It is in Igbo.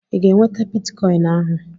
I ga-enweta bitikọin ahụ?